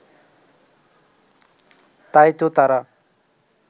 তাই তো তারা